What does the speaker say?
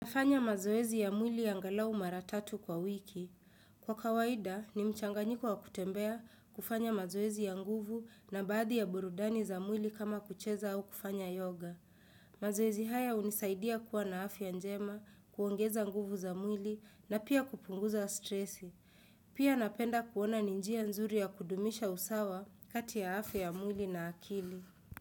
Nafanya mazoezi ya mwili angalau mara tatu kwa wiki. Kwa kawaida ni mchanganyiko wa kutembea kufanya mazoezi ya nguvu na baadhi ya burudani za mwili kama kucheza au kufanya yoga. Mazoezi haya hunisaidia kuwa na afya njema, kuongeza nguvu za mwili na pia kupunguza stresi. Pia napenda kuona ni njia nzuri ya kudumisha usawa kati ya afya ya mwili na akili.